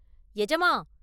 “எஜமான்!